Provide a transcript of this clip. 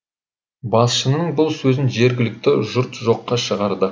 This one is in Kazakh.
басшысының бұл сөзін жергілікті жұрт жоққа шығарды